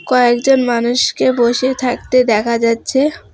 কয়েকজন মানুষকে বসে থাকতে দেখা যাচ্ছে।